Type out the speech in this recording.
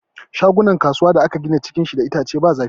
Shagunan kasuwa da aka gina da itace, cikin shi ba zafi.